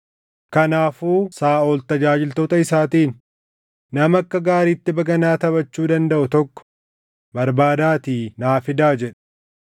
Kanaafuu Saaʼol tajaajiltoota isaatiin, “Nama akka gaariitti baganaa taphachuu dandaʼu tokko barbaadaatii naa fidaa” jedhe.